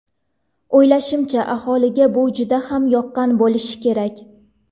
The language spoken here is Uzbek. O‘ylashimcha, aholiga bu juda ham yoqqan bo‘lishi kerak.